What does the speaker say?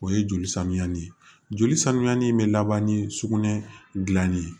O ye joli samiya ni joli sanuyali in bɛ laban ni sugunɛ dilanni ye